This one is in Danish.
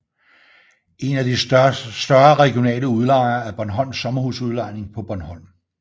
En af de større regionale udlejere er Bornholms Sommerhus Udlejning på Bornholm